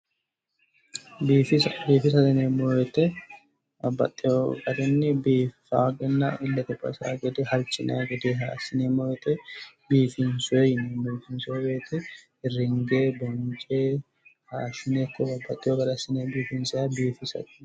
Biifisa biifisate yineemmo woyte babbaxxeyo garinni biifaa gedenna illete baxisaa gede halchinayi gede assineemmo woyte biifinsoyi yineemmo yaate biifinsayi woyte ringe bonce hayishshine babbaxxeyo gaarinniiti biifinsayhu